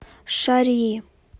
шарьи